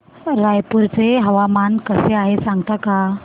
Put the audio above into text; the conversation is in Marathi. रायपूर चे हवामान कसे आहे सांगता का